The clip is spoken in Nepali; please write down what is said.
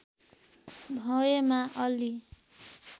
भएमा अलि